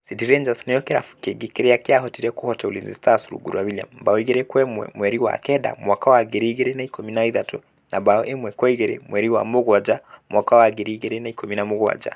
City Rangers nĩkĩo kĩrabu kĩngi kĩria kĩahotire kũhota Ulinzi Stars rungu rwa William(mbao igĩri kwa ĩmwe mweri wa kenda ngiri igĩrĩ na ikũmi na ithathatũ na mbaũ ĩmwe kwa igĩrĩ mweri wa Mugaaya ngiri igĩrĩ na ikũmĩ na mũgwanja)